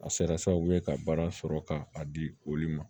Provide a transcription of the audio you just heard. A sera sababu ye ka baara sɔrɔ ka a di olu ma